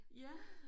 Ja